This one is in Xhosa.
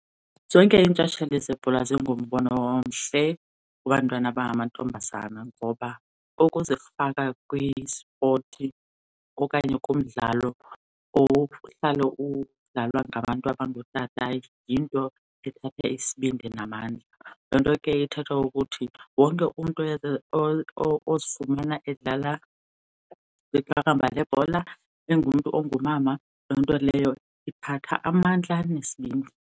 Zonke intshatsheli zebhola zingumbono omhle kubantwana abangamantombazana ngoba ukuzifaka kwisipoti okanye kumdlalo ohlale udlalwa ngabantu abangootata yinto ethatha isibindi namandla. Loo nto ke ithetha ukuthi wonke umntu ozifumana edlala iqakamba lebhola engumntu ongumama, loo nto leyo ithatha amandla nesibindi.